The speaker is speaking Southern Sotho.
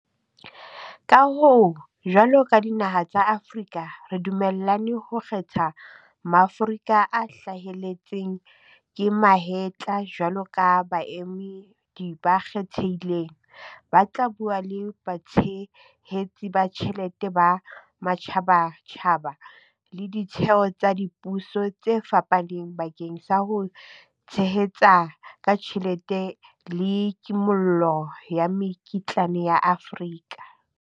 Ka hoo, jwalo ka dinaha tsa Afrika re dumellane ho kgetha Maaforika a hlaheletseng ka mahetla jwalo ka baemedi ba kgethehileng, ba tla bua le batshehetsi ba tjhelete ba matjhabatjhaba le ditheo tsa dipuso tse fapaneng bakeng sa ho tshehetsa ka tjhelete le kimollo ya mekitlane ya Afrika.